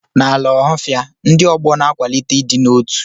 N'ala Ọhafia, ndị ọgbọ na-akwalite ịdị n'otu.